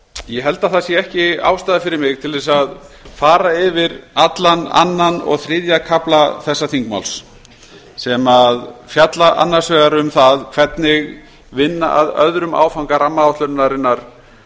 ég held að það sé ekki ástæða fyrir mig til að fara yfir allan annan og þriðja kafla þessa þingmáls sem fjalla annars vegar um það hvernig vinna að öðrum áfanga rammaáætlunarinnar